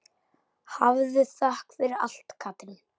Hafðu þökk fyrir allt, Katrín.